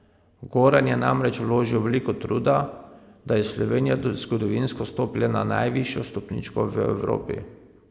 Goran je namreč vložil veliko truda, da je Slovenija zgodovinsko stopila na najvišjo stopničko v Evropi.